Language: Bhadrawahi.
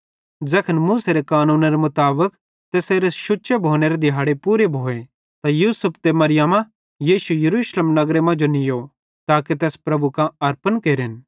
ज़ैखन मूसेरे कानूनेरे मुताबिक तैसेरे शुच्चे भोनेरे दिहाड़े पूरे भोए त यूसुफे ते मरियमा यीशु यरूशलेम नगरे मांजो नीयो ताके तैस प्रभुए कां पैश केरम